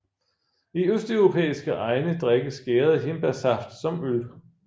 I østeuropæiske egne drikkes gæret hindbærsaft som øl